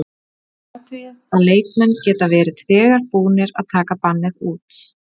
Athugið að leikmenn geta verið þegar búnir að taka bannið út.